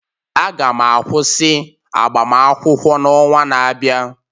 Aga m akwụsị agbamakwụkwọ n'ọnwa na-abịa